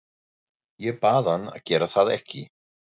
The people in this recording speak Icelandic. Ég bað hann að gera það ekki.